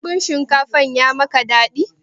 Dambun shinkafan ya maka daɗi?